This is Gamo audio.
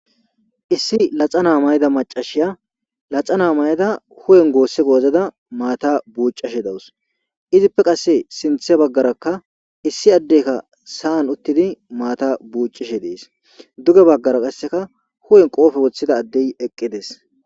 Issi laxanaa mayida macashiya laxana mayada huwen goosse goozada maata buuccashe dawus. Izippe qasse sinthe baggarakka issi addeka sa7an uttidi maata buuccishe dees. Duge baggara qasseka huwen qoofe woththida addey eqqides.